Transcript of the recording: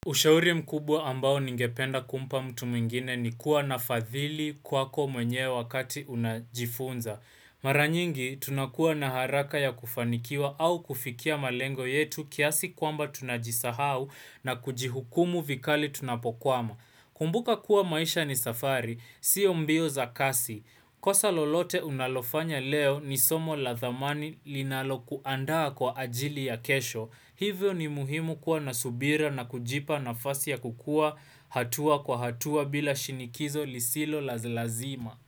Ushauri mkubwa ambao ningependa kumpa mtu mwingine ni kuwa na fadhili kwako mwenyewe wakati unajifunza. Maranyingi, tunakuwa na haraka ya kufanikiwa au kufikia malengo yetu kiasi kwamba tunajisahau na kujihukumu vikali tunapokwama. Kumbuka kuwa maisha ni safari, siyo mbio za kasi. Kosa lolote unalofanya leo ni somo la dhamani linalo kuandaa kwa ajili ya kesho. Hivyo ni muhimu kuwa nasubira na kujipa nafasi ya kukua hatua kwa hatua bila shinikizo lisilo lalazima.